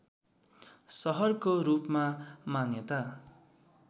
सहरको रूपमा मान्यता